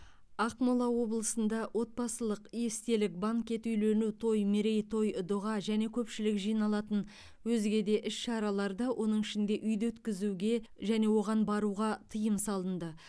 ақмола облысында отбасылық естелік банкет үйлену той мерейтой дұға және көпшілік жиналатын өзге де іс шараларды оның ішінде үйде өткізуге және оған баруға тиым салынды